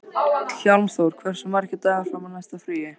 Hjálmþór, hversu margir dagar fram að næsta fríi?